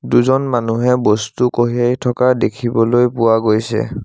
দুজন মানুহে বস্তু কঢ়িয়াই থকা দেখিবলৈ পোৱা গৈছে।